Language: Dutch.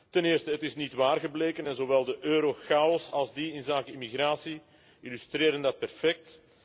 Ten eerste is dit niet waar gebleken zowel de eurochaos als die inzake immigratie illustreren dat perfect.